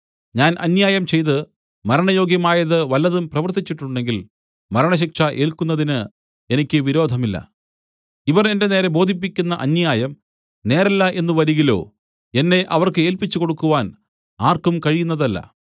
ഞാൻ അന്യായം ചെയ്ത് മരണയോഗ്യമായത് വല്ലതും പ്രവൃത്തിച്ചിട്ടുണ്ടെങ്കിൽ മരണശിക്ഷ ഏല്ക്കുന്നതിന് എനിക്ക് വിരോധമില്ല ഇവർ എന്റെ നേരെ ബോധിപ്പിക്കുന്ന അന്യായം നേരല്ല എന്നു വരികിലോ എന്നെ അവർക്ക് ഏല്പിച്ചുകൊടുക്കുവാൻ ആർക്കും കഴിയുന്നതല്ല